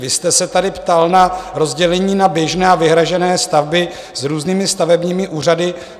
Vy jste se tady ptal na rozdělení na běžné a vyhrazené stavby s různými stavebními úřady.